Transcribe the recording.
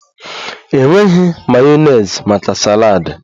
Enweghi mayonezi maka saladi